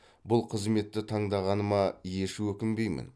бұл қызметті таңдағаныма еш өкінбеймін